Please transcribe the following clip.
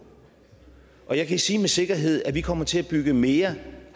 og jeg kan sige med sikkerhed at vi kommer til at bygge mere